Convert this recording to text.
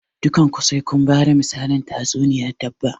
Dukan ku sai kun bada misalin tatsuniyan dabba!